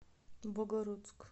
богородск